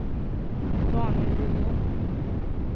Daniel Rydén